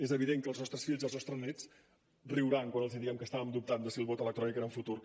és evident que els nostres fills i els nostres nets riuran quan els diguem que estàvem dubtant de si el vot electrònic era el futur